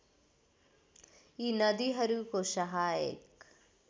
यी नदीहरूको सहायक